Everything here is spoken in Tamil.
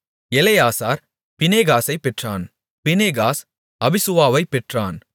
எலெயாசார் பினெகாசைப் பெற்றான் பினெகாஸ் அபிசுவாவைப் பெற்றான்